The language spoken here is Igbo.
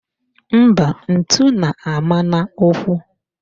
Mba, ntụ na-ama n'ụkwụ